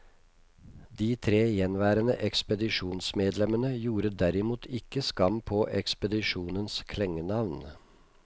De tre gjenværende ekspedisjonsmedlemmene gjorde derimot ikke skam på ekspedisjonens klengenavn.